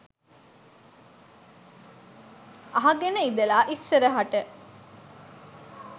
අහගෙන ඉඳලා ඉස්සරහට